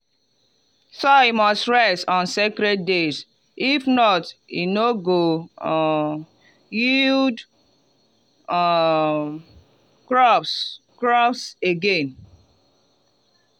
soil must rest on sacred days if not e no go um yield um crops crops again.